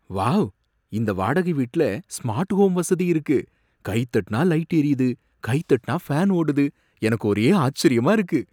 Wow! இந்த வாடகை வீட்ல ஸ்மார்ட் ஹோம் வசதி இருக்கு, கைதட்டனா லைட் எரியுது, கைதட்டனா ஃபேன் ஓடுது, எனக்கு ஒரே ஆச்சரியமா இருக்கு!